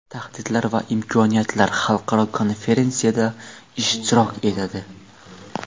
Tahdidlar va imkoniyatlar xalqaro konferensiyasida ishtirok etadi.